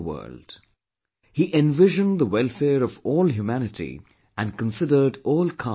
He envisioned the welfare of all humanity and considered all castes to be equal